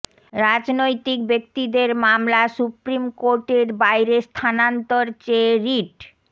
রাজনৈতিক ব্যক্তিদের মামলা সুপ্রিম কোর্টের বাইরে স্থানান্তর চেয়ে রিট